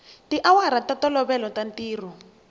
tiawara ta ntolovelo ta ntirho